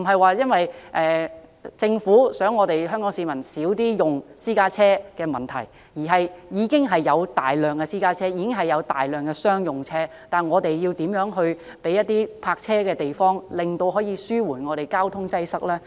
這不是政府呼籲香港市民減少使用私家車的問題，而是已經有大量的私家車及商用車，政府應提供泊車的地方，以紓緩交通擠塞。